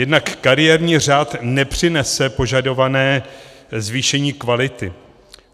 Jednak kariérní řád nepřinese požadované zvýšení kvality.